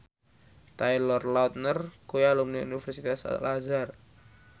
Taylor Lautner kuwi alumni Universitas Al Azhar